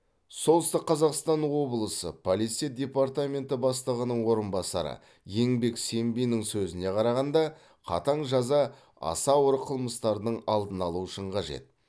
солтүстік қазақстан облысы полиция департаменті бастығының орынбасары еңбек сембиннің сөзіне қарағанда қатаң жаза аса ауыр қылмыстардың алдын алу үшін қажет